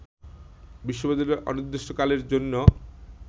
বিশ্ববিদ্যালয় অনির্দিষ্টকালের জন্য